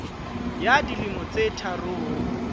ya dilemo tse tharo ho